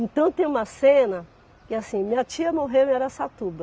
Então tem uma cena que é assim, minha tia morreu em Araçatuba